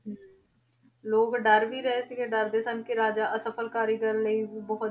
ਹਮ ਲੋਕ ਡਰ ਵੀ ਗਏ ਸੀਗੇ ਡਰਦੇ ਸਨ ਕਿ ਰਾਜਾ ਅਸਫਲ ਕਾਰੀਗਰਾਂ ਲਈ ਵੀ ਬਹੁਤ